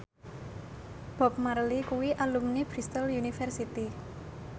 Bob Marley kuwi alumni Bristol university